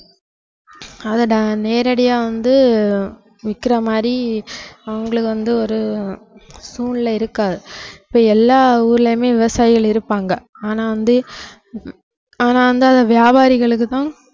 அதை நே~ நேரடியா வந்து விக்கிற மாதிரி அவங்களுக்கு வந்து ஒரு சூழ்நிலை இருக்காது இப்ப எல்லா ஊர்லயுமே விவசாயிகள் இருப்பாங்க ஆனா வந்து உம் ஆனா வந்து அது வியாபாரிகளுக்கு தான்